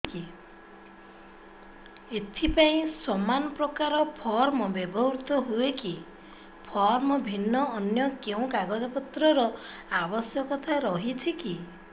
ଏଥିପାଇଁ ସମାନପ୍ରକାର ଫର୍ମ ବ୍ୟବହୃତ ହୂଏକି ଫର୍ମ ଭିନ୍ନ ଅନ୍ୟ କେଉଁ କାଗଜପତ୍ରର ଆବଶ୍ୟକତା ରହିଛିକି